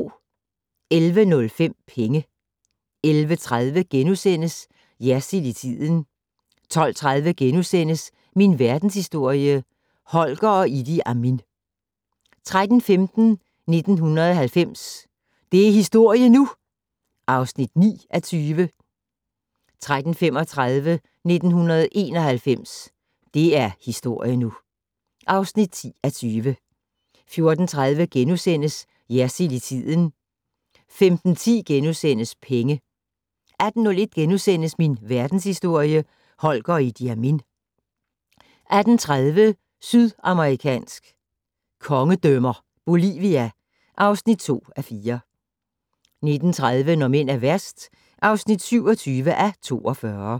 11:05: Penge 11:30: Jersild i tiden * 12:30: Min verdenshistorie - Holger og Idi Amin * 13:15: 1990 - det er historie nu! (9:20) 13:35: 1991 - det er historie nu (10:20) 14:30: Jersild i tiden * 15:10: Penge * 18:01: Min verdenshistorie - Holger og Idi Amin * 18:30: Sydamerikansk kongedømmer - Bolivia (2:4) 19:30: Når mænd er værst (27:42)